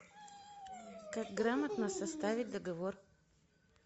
как грамотно составить договор